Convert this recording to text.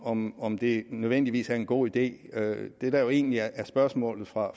om om det nødvendigvis er en god idé det der egentlig er spørgsmålet fra